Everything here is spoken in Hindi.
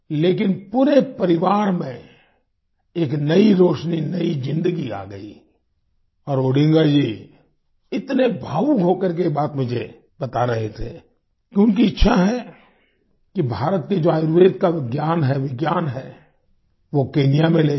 लेकिन पूरे परिवार में एक नई रोशनी नई जिंदगी आ गई और ओडिंगा जी इतने भावुक हो करके ये बात मुझे बता रहे थे कि उनकी इच्छा है कि भारत के आयुर्वेद का ज्ञान है विज्ञान है वो केन्या में ले जाए